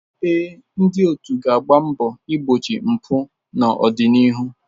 Ee, ndị otu ga-agba mbọ igbochi mpụ n'ọdịnihu.